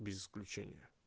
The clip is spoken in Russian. без включения